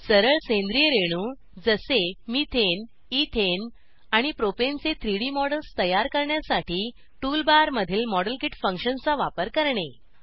सरळ सेंद्रिय रेणू जसे मिथेन इथेन आणि प्रोपेन चे 3डी मॉडेल्स तयार करण्यासाठी टूल बारमधील मॉडेलकीट फंक्शनचा वापर करणे